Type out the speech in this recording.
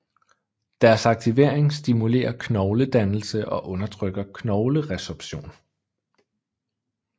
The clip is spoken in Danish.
Deres aktivering stimulerer knogledannelse og undertrykker knogleresorption